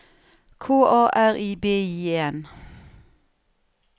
K A R I B I E N